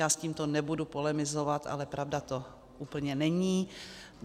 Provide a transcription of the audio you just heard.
Já s tímto nebudu polemizovat, ale pravda to úplně není.